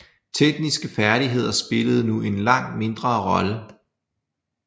Tekniske færdigheder spillede nu en langt mindre rolle